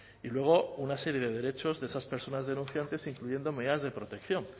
y luego una serie de derechos de esas personas denunciantes incluyendo medidas de protección